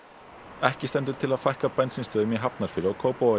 ekki stendur til að fækka bensínstöðvum í Hafnarfirði og Kópavogi